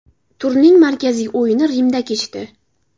Turning markaziy o‘yini Rimda kechdi.